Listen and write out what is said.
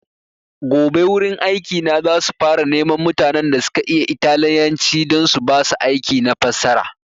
Gobe wurin aiki na za su fara neman mutanen da suka iya italyanci don su basu aiki na fassara